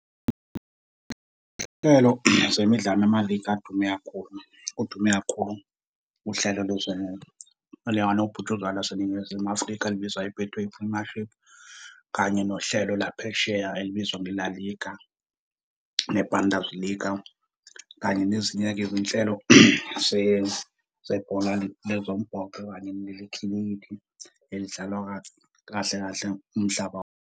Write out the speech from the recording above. zemidlalo namaligi adume kakhulu, kudume kakhulu uhlelo elikanobhutshuzwayo laseNingizimu Afrika elibizwa i-Betway Premiership kanye nohlelo laphesheya elibizwa ngeLa Liga, neBundesliga kanye nezinye-ke izinhlelo zebhola lezombhoxo kanye nelekhilikithi elidlalwa kahle kahle umhlaba .